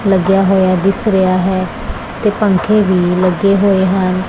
ਲੱਗੇਆ ਹੋਯਾ ਦਿੱਸ ਰਿਹਾ ਹੈ ਤੇ ਪੰਖੇ ਵੀ ਲੱਗੇ ਹੋਏ ਹਨ।